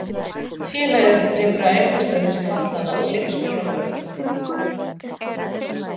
Félagið rekur æfingastöð fyrir fatlaða og leikskóla fyrir fötluð börn að